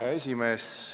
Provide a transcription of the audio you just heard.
Hea esimees!